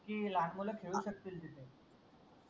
की लहान मूल खेळू शकतील तिथे